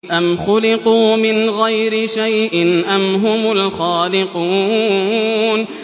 أَمْ خُلِقُوا مِنْ غَيْرِ شَيْءٍ أَمْ هُمُ الْخَالِقُونَ